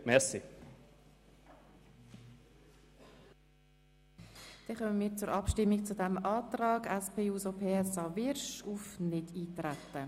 Damit kommen wir zur Abstimmung über den Antrag von Grossrat Wyrsch auf Nichteintreten.